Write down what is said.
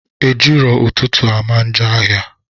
Ejii ro ututu amanjo ahia